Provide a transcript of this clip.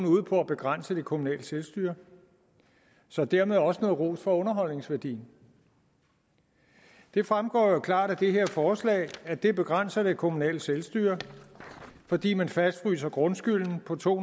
ude på at begrænse det kommunale selvstyre så dermed også noget ros for underholdningsværdien det fremgår jo klart af det her forslag at det begrænser det kommunale selvstyre fordi man fastfryser grundskylden på to